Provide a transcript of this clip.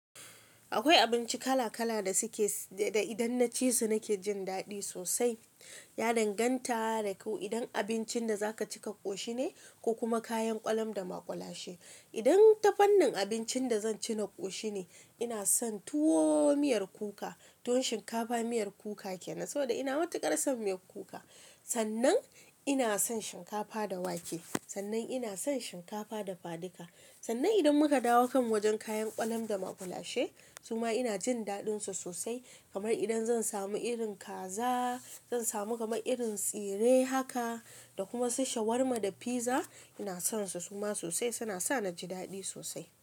Akwai abinci kala kala da idan na ci su nake jin ɗaɗi sosai. Ya danganta da ko idan abincin da za ka ci ka koshi ne ko kuma kayan ƙwalam da maƙwalashe. Idan ta fannin abincin da zan ci na koshi ne, ina son tuwo miyar kuka. Tuwon shinkafa miyar kuka kenan, saboda ina matuƙar san miyar kuka. Sannan ina son shinkafa da wake. Sannan ina son shinkafa dafadika. Sannan idan muka dawo kan wajen kayan ƙwalam da maƙwalashe, suma ina jin daɗinsu sosai. Kamar idan zan samu irin kaza, zan samu kam irin tsire haka, da kuma su shawarma da pizza, ina son su suma sosai suna sa naji daɗi sosai.